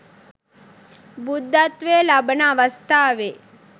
බුද්ධත්වය ලබන අවස්ථාවේ